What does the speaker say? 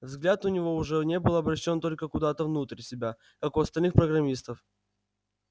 взгляд у него уже не был обращён только куда-то внутрь себя как у остальных программистов